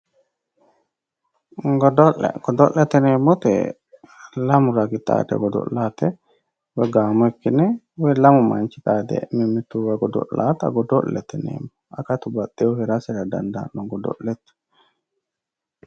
Godo'le ,godo'lete yineemmoti lamu ragi xaadde godo'lannote woyi gaamo ikkine woyi lamu manchi xaade mimmituwa godo'lanotta godo'lete yineemmo akatu baxinohu heerasera dandaano godo'lete.